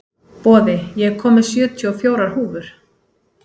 Boði, ég kom með sjötíu og fjórar húfur!